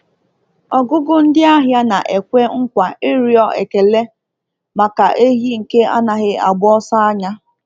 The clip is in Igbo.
Ọgụgụ ndị ahịa na-ekwe nkwa ịrịọ ekele maka ehi nke anaghị agba ọsọ anya.